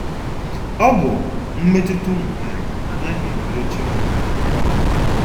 Ọ bụ...... mmetụta ụmụ nwanyị anaghị enwerecha onwe ha na ya.